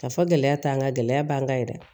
Ka fɔ gɛlɛya t'an kan gɛlɛya b'an kan yɛrɛ